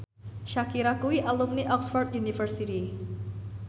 Shakira kuwi alumni Oxford university